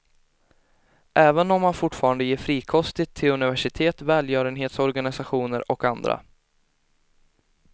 Även om han fortfarande ger frikostigt till universitet, välgörenhetsorganisationer och andra.